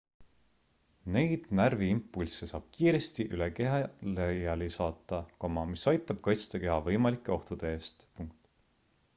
neid närviimpulsse saab kiiresti üle keha laiali saata mis aitab kaitsta keha võimalike ohtude eest